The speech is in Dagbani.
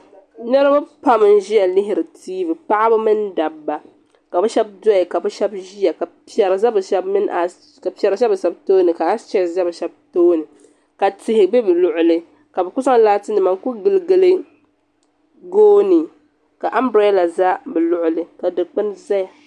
Niribi pam n ʒiya lihiri tiivi paɣaba mini dabba ka bɛ Shɛba doya ka bɛ shɛbi ʒiya ka piɛri ʒei bɛ shɛbi tooni ka asichɛsi ʒei bɛ shɛbi tooni ka tihi be bɛ luɣuli ka bɛ kuli zaŋ laatinima n ku giligili gooni ka amberaala za bɛ luɣuli ka dikpuni zaya.